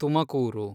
Tumakuru